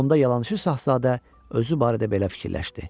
onda yalançı şahzadə özü barədə belə fikirləşdi.